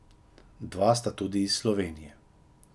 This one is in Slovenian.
Dva sta tudi iz Slovenije.